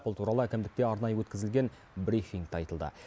бұл туралы әкімдікте арнайы өткізілген брифингте айтылды